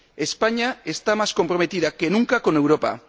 España está más comprometida que nunca con Europa.